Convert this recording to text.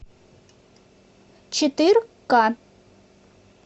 четыр ка